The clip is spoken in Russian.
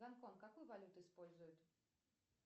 гонконг какую валюту использует